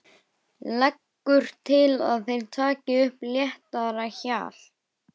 Leggur til að þeir taki upp léttara hjal.